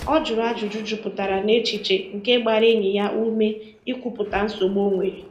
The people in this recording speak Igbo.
Ọ jụrụ ajụjụ jupụtara n'echiche nke gbara enyi ya ume i kwupụta nsogbu o nwere.